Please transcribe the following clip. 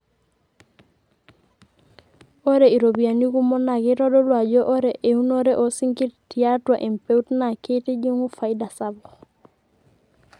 ore iropiyiani kumok naa keitodolu ajo ore eunore oo sinkir teiatua empeut naa keitijingu faida sapuk